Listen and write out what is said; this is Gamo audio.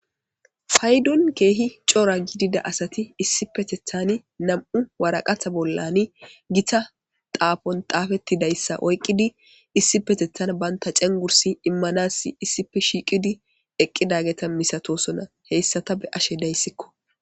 Faydon keehi coora gidida asati issi petethan nam'u waraqatha bollani gita taafon xaafettidayssa oyqqidi issi petethan banta cengursi immanasi issife shiiqidi eqqidageta misatosona heyssata be ashe dayssikko.